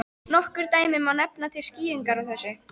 Nokkur dæmi má nefna til skýringar á þessu.